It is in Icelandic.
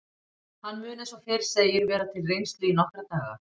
Hann mun eins og fyrr segir vera til reynslu í nokkra daga.